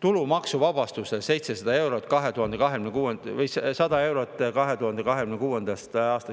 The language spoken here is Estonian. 2026. aastast tulumaksuvabastust 100 eurot.